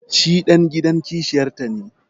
shi dan gidan kishiyarta ne